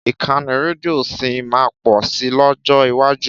Ìkànnì rédíò sì máa pọ̀ si lọ́jọ́ iwájú.